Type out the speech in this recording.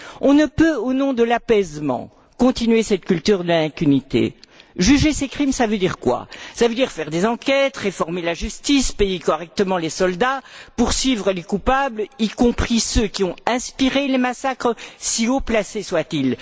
On ne peut, au nom de l'apaisement, continuer cette culture de l'impunité. Juger ces crimes, ça veut dire quoi? Ça veut dire faire des enquêtes, réformer la justice, payer correctement les soldats, poursuivre les coupables, y compris ceux qui ont inspiré les massacres, si haut placés soient ils.